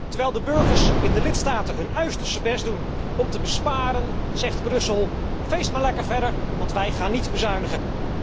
Terwijl de burgers in de lidstaten hun uiterste best doen om te besparen zegt Brussel feest maar lekker verder, want wij gaan niet bezuinigen.